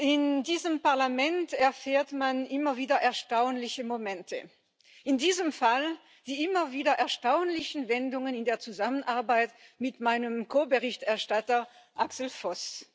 In diesem Parlament erlebt man immer wieder erstaunliche Momente, in diesem Fall die immer wieder erstaunlichen Wendungen in der Zusammenarbeit mit meinem Ko Berichterstatter Axel Voss.